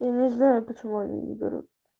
не знаю почему они не берут